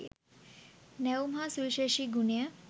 නැවුම් හා සුවිශේෂී ගුණය